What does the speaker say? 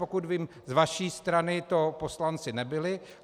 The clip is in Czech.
Pokud vím, z vaší strany to poslanci nebyli.